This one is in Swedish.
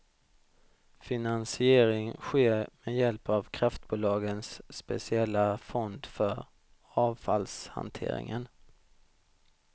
Finansiering sker med hjälp av kraftbolagens speciella fond för avfallshanteringen.